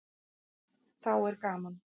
Þá er gaman.